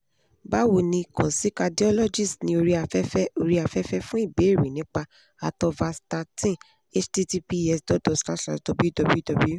bawo ni kan si cardiologist ni orí afẹ́fẹ́ orí afẹ́fẹ́ fun ibèèrè nipa atorvastatin https dot dot forward slash forward slash www